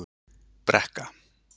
Brekka